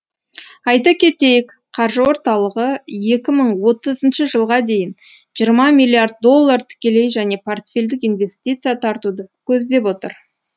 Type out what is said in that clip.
айта кетейік қаржы орталығы екі мың отызыншы жылға дейін жиырма миллиард доллар тікелей және портфельдік инвестиция тартуды көздеп отыр